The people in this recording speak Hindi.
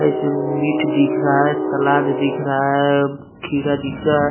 इसमें मीठ दिख रहा है सलाद दिख रहा है खीरा दिख रहा है।